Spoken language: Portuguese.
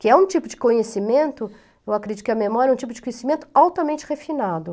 que é um tipo de conhecimento, eu acredito que a memória é um tipo de conhecimento altamente refinado.